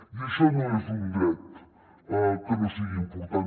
i això no és un dret que no sigui important